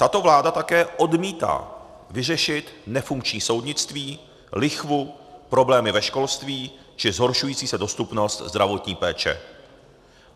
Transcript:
Tato vláda také odmítá vyřešit nefunkční soudnictví, lichvu, problémy ve školství či zhoršující se dostupnost zdravotní péče.